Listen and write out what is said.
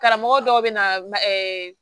Karamɔgɔ dɔw bɛ na